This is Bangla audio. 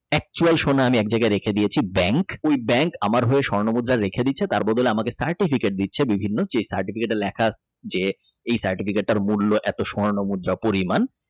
actual সোনা আমি এক জায়গায় রেখে দিয়েছি Bank ওই Bank আমার হয়ে স্বর্ণমুদ্রা রেখে দিছে তারপর তাহলে আমাকে Certificate দিচ্ছে বিভিন্ন যে Certificate এ লেখা আছে যে এই Certificate এর মূল্য এত স্বর্ণমুদ্রা পরিমাণ।